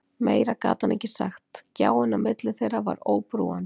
Meira gat hann ekki sagt, gjáin á milli þeirra var óbrúandi.